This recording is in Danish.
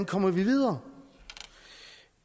kommer videre